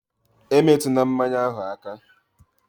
E metuna mmanya ahụ aka!